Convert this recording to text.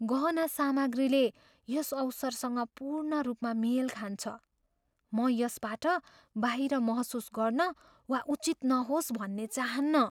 गहना सामग्रीले यस अवसरसँग पूर्ण रूपमा मेल खान्छ। म यसबाट बाहिर महसुस गर्न वा उचित नहोस् भन्ने चाहन्न।